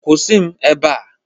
Kwụsị m ebe a!